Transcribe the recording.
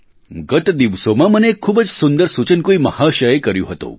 ગત દિવસોમાં મને એક ખૂબ જ સુંદર સૂચન કોઈ મહાશયે કર્યું હતું